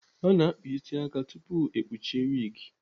A na-akpa isi aka tupu ekpuru wigi.